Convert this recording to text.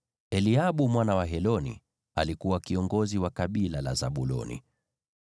naye Eliabu mwana wa Heloni alikuwa kiongozi wa kabila la Zabuloni.